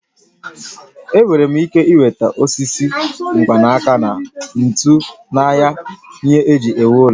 I nwere ike nweta osisi, mkpanaka na ntu n'ahịa ihe eji ewu ụlọ